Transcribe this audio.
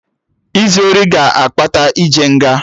Izu ori ga na-akpata ije nga